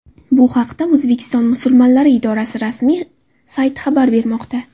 Bu haqda O‘zbekiston musulmonlari idorasi rasmi sayti xabar bermoqda.